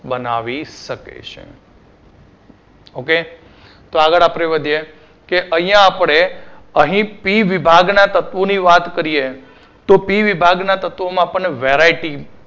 બનાવી શકે છે. okay તો આગળ આપણે વધીએ કે અહીંયા આપણે અહીં પી વિભાગના તત્વોની વાત કરીએ. તો P વિભાગના તત્વોમાં આપણને variety